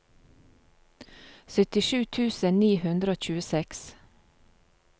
syttisju tusen ni hundre og tjueseks